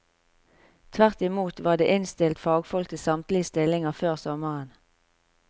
Tvert i mot var det innstilt fagfolk til samtlige stillinger før sommeren.